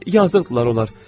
Yazıqdırlar onlar.